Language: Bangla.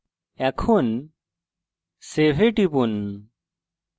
এখন save এ টিপুন